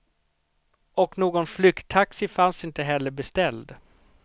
Och någon flykttaxi fanns inte heller beställd.